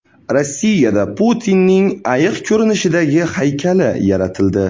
Rossiyada Putinning ayiq ko‘rinishidagi haykali yaratildi .